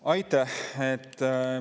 Aitäh!